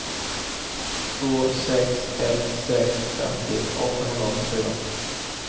två sex ett sex femtio åttahundraåttiofyra